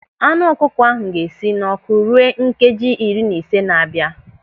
Anụ ọkụkọ ahụ ga-esi n'ọ́kụ́ ruo nkeji iri na ise na-abịa.